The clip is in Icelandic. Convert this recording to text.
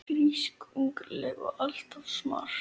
Frísk, ungleg og alltaf smart.